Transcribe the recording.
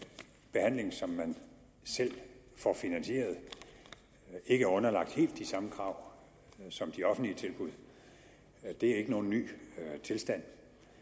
behandlingen som man selv får finansieret ikke er underlagt helt de samme krav som de offentlige tilbud er ikke nogen ny tilstand